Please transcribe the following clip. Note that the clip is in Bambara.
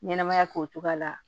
Ɲɛnɛmaya k'o cogoya la